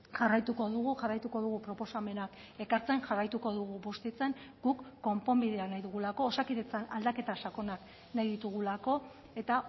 jarraituko dugu jarraituko dugu proposamenak ekartzen jarraituko dugu bustitzen guk konponbidea nahi dugulako osakidetzan aldaketa sakonak nahi ditugulako eta